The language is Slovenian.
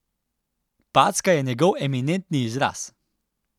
Packa je njegov eminentni izraz.